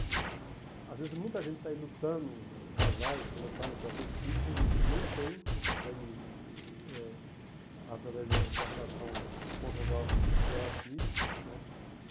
Que às vezes muita gente está aí lutando, casais, lutando para ter filhos e nem tem, não consegue, eh através de de uma relação conjugal, gerar filhos, né?